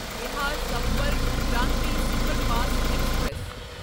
Bihar Sampark Kranti superfast express